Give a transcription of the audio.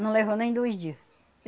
Não levou nem dois dias.